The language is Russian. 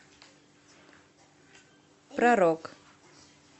про рок